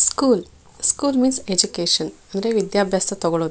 School school means education . ಅಂದ್ರೆ ವಿದ್ಯಾಭ್ಯಾಸ ತಗೋಳೋದು.